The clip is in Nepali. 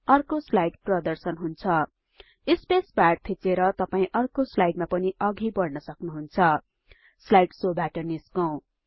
अर्को स्लाइड प्रदर्शन हुन्छ स्पेस बार थिचेर तपाई अर्को स्लाइडमा पनि अघि बढ्न सक्नुहुन्छ स्लाइड शो बाट निस्कौं